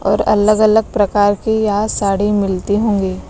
और अलग-अलग प्रकार की या साड़ी मिलती होंगी।